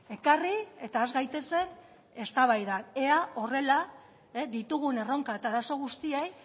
ekarri eta has gaitezen eztabaidan ea horrela ditugun erronka eta arazo guztiei